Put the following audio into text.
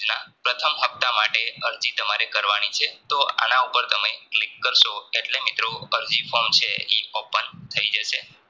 પ્રથમ હપ્તા માટે અરજી તમારે કરવાની છે તો આના ઉપર તમે click કરસો એટલે મિત્રો તમે અરજી form છે ઈ Open થઇ જશે